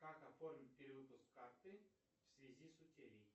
как оформить перевыпуск карты в связи с утерей